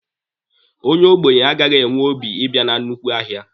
Onye ogbenye agaghị enwe obi ibia na nnukwu ahịa.